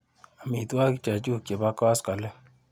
Amitwogik chechu chebo koskoliny.